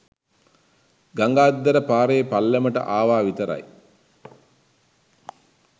ගඟ අද්දර පාරේ පල්ලමට ආවා විතරයි